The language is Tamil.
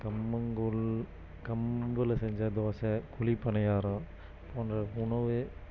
கம்மங்கூழ் கம்புல செஞ்ச தோசை குழி பணியாரம் போன்ற உணவே